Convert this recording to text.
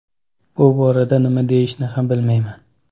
Bu borada nima deyishni ham bilmayman.